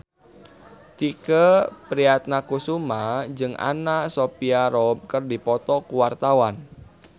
Tike Priatnakusuma jeung Anna Sophia Robb keur dipoto ku wartawan